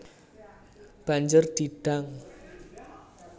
Banjur di dang